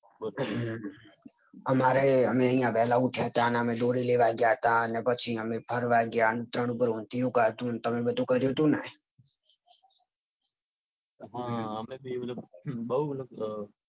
તમે વેલા ઉઠ્યા તા ને અમે દોરી લેવા ગયા તા ને પછી અમે ફરવા ગયા તા ને પછી ઉપર ઊંધિયું ખાદ્યું તું તમે બધું કર્યું તું ને. હા અમે પણ